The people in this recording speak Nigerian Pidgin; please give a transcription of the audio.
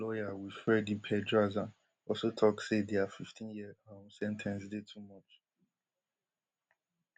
lawyer wilfredi pedraza also tok say dia fifteen year um sen ten ce dey too much